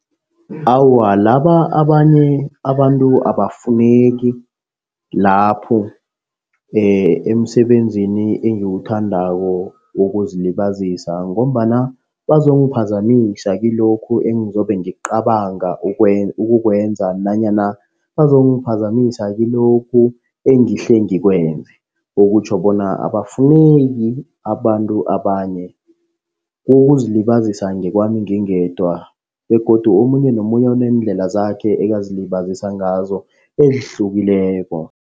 Awa, laba abanye abantu abafuneki lapho emsebenzini, engiwuthandako wokuzilibazisa ngombana bazongiphazamisa kilokhu engizobe ngicabanga ukukwenza nanyana bazongiphazamisa kilokhu engihle ngikwenza. Okutjho bona abafuneki abantu abanye. Kokuzilibazisa ngokwami ngingedwa begodu omunye nomunye uneendlela zakhe ekazilibazisa ngazo ezihlukileko.